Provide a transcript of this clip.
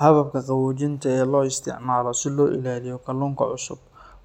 Hababka qaboojinta ee loo isticmaalo si loo ilaaliyo kalluunka cusub